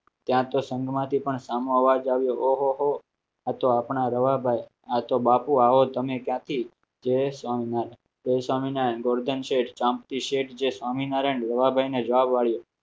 ત્યાં તો સંઘમાંથી પણ સામો અવાજ આવ્યો ઓહોહો આ તો આપણા રવાભાઈ આ તો બાપુ આવો તમે ક્યાંથી જય સોમનાથ જય સ્વામિનારાયણ જોડકા છે શાંતિ છે જય સ્વામિનારાયણ ને જવાબ આપવું